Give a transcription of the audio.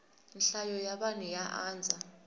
nhlayo ya vanhu ya andza